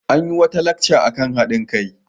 An yi wata lacca kan haɗin kai.